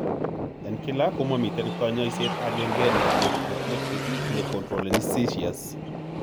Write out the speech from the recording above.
En kila komamiten konyoiset agenge ne antiepileptic ne controleni seizures.